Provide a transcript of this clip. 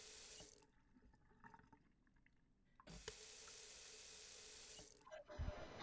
hello Pinal અવાજ આવે છે